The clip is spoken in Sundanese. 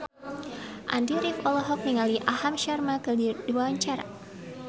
Andy rif olohok ningali Aham Sharma keur diwawancara